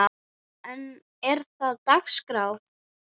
En er það á dagskrá?